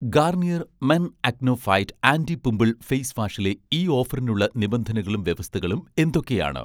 Garnier' men acno fight anti -pimple face വാഷിലെ ഈ ഓഫറിനുള്ള നിബന്ധനകളും വ്യവസ്ഥകളും എന്തൊക്കെയാണ്?